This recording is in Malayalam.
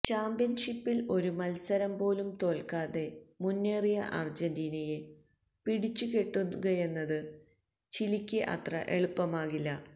ചാമ്പ്യന്ഷിപ്പില് ഒരു മത്സരം പോലും തോല്ക്കാതെ മുന്നേറിയ അര്ജന്റീനയെ പിടിച്ചുകെട്ടുകയെന്നത് ചിലിക്ക് അത്ര എളുപ്പമാകില്ല